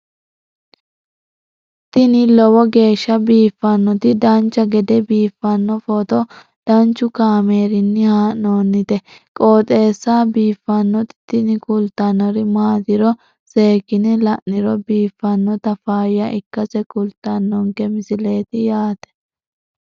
tini lowo geeshsha biiffannoti dancha gede biiffanno footo danchu kaameerinni haa'noonniti qooxeessa biiffannoti tini kultannori maatiro seekkine la'niro biiffannota faayya ikkase kultannoke misileeti yaate